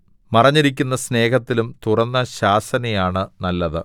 മറഞ്ഞിരിക്കുന്ന സ്നേഹത്തിലും തുറന്ന ശാസനയാണ് നല്ലത്